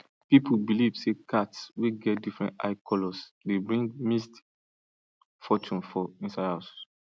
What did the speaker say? people believe say cats wey get different eye colours dey bring mixed fortunes for inside house